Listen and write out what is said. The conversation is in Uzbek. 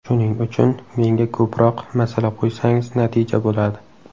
Shuning uchun menga ko‘proq masala qo‘ysangiz, natija bo‘ladi.